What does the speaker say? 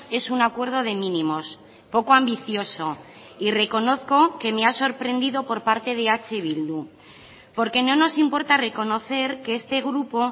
es un acuerdo de mínimos poco ambicioso y reconozco que me ha sorprendido por parte de eh bildu porque no nos importa reconocer que este grupo